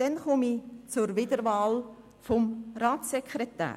Dann komme ich zur Wiederwahl des Ratssekretärs.